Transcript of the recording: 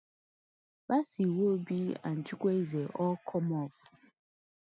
bassey iwobi and chukwueze all come off